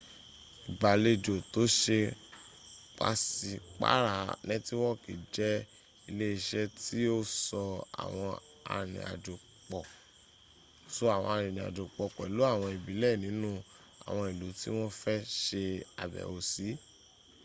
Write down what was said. ìgbàlejò tó ṣe pàṣípàra nẹ́tíwọkì jẹ ilé iṣẹ́ tí o so àwọn arinrìn àjò pọ̀ pẹ̀lú àwọn ìbílẹ̀ nínu àwọn ìlú tí wọ́n fẹ́ ṣe àbẹ̀wò sí